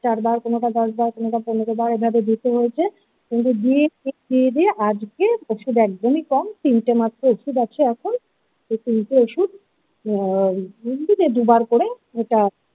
চারবার কোনো বা দশবার কোনো বা পনেরো বার এইভাবে দিতে হয়েছে কিন্তু দিয়ে টিয়ে আজকে ওষুধ একদমই কম তিনটে মাত্র ওষুধ আছে এখন এই তিনটে ওষুধ আ তিন থেকে দুবার করে।